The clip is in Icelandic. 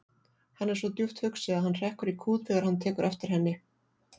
Hann er svo djúpt hugsi að hann hrekkur í kút þegar hann tekur eftir henni.